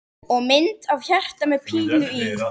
Og mynd af hjarta með pílu í.